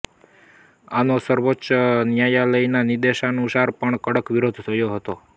આનો સર્વોચ્ચ ન્યાયાલયના નિદેશાનુસાર પણ કડક઼ વિરોધ થયો હતો